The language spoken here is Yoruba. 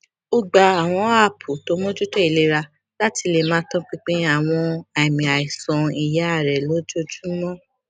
ó gba àwọn aápù tó mójútó ìlera láti lè máa tọpinpin àwọn àmì àìsàn iyá rẹ lójoojúmọ